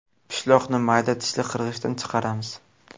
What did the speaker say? Pishloqni mayda tishli qirg‘ichdan chiqaramiz.